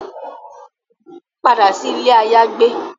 Pada si ile ayagbe